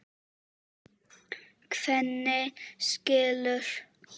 Svenni skilur.